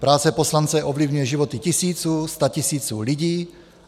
Práce poslance ovlivňuje životy tisíců, statisíců lidí.